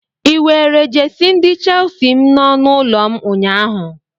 Ị were jesi ndi chelsi m n'ọnụ ụlọ m ụnyaahụ?